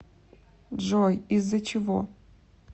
джой из за чего